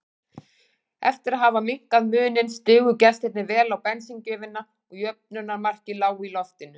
Eftir að hafa minnkað muninn stigu gestirnir vel á bensíngjöfina og jöfnunarmarkið lá í loftinu.